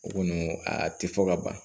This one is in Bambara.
O kɔni a tɛ fɔ ka ban